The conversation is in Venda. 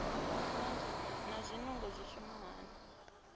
naa zwinungo zwi shuma hani